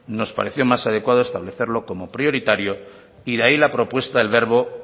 nos parecía más adecuado establecerlo como prioritario y de ahí la propuesta del verbo